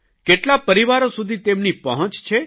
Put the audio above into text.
કેટલા પરિવારો સુધી તેમની પહોંચ છે